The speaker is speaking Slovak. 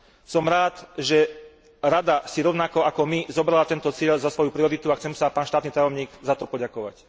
Som rád, že Rada si rovnako ako my zobrala tento cieľ za svoju prioritu a chcem sa, pán štátny tajomník, za to poďakovať.